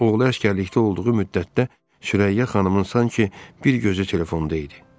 Oğlu əsgərlikdə olduğu müddətdə, Sürəyya xanımın sanki bir gözü telefonda idi.